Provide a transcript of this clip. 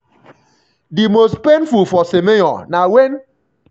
di most painful for semenyo na wen